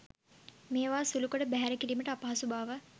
මේවා සුළුකොට බැහැර කිරීමට අපහසු බව